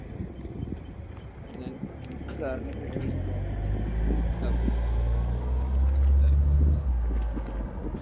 ഞാൻ Car നെ പറ്റിയുള്ള വാർത്തകൾ